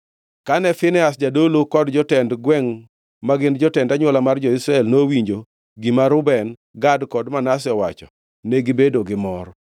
Kane Finehas jadolo kod jotend gwengʼ, ma gin jotend anywola mar jo-Israel, nowinjo gima Reuben, Gad kod Manase nowacho, negibedo gi mor.